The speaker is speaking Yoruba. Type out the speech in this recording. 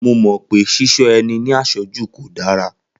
Mo mọ̀ pé Ṣíṣọ́ ẹni ní àṣọ́jù kò dára